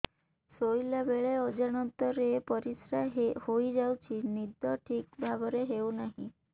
ଶୋଇଲା ବେଳେ ଅଜାଣତରେ ପରିସ୍ରା ହୋଇଯାଉଛି ନିଦ ଠିକ ଭାବରେ ହେଉ ନାହିଁ